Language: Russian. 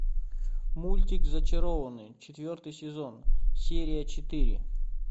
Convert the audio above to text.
мультик зачарованный четвертый сезон серия четыре